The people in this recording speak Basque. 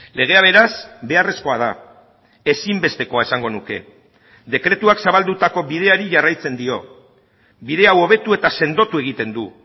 legea beraz beharrezkoa da ezinbestekoa esango nuke dekretuak zabaldutako bideari jarraitzen dio bide hau hobetu eta sendotu egiten du